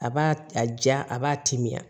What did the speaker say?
A b'a a ja a b'a timiya